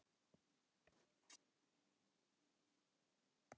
Konunglegt brúðkaup í apríl